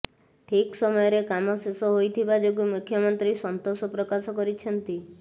ଠିକ ସମୟରେ କାମ ଶେଷ ହୋଇଥିବା ଯୋଗୁଁ ମୁଖ୍ୟମନ୍ତ୍ରୀ ସନ୍ତୋଷ ପ୍ରକାଶ କରିଛନ୍ତି